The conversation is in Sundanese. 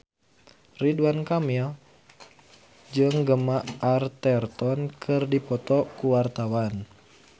Ridwan Kamil jeung Gemma Arterton keur dipoto ku wartawan